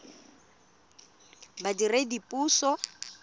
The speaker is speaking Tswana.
badiredipuso